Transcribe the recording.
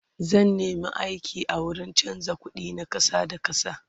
zan nema aiki a wurin chanza ƙuɗi na ƙasa da ƙasa